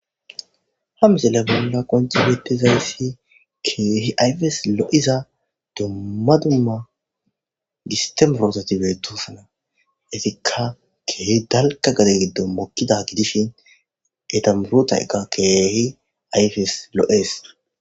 Ha miselle bolla qonci betizayssi keehi ayfes l'iza dumma duma gistemorotatibetosana etikka keehi dalka gade giddo mokida gidishin etamurutayqqa keehi ayfes lo's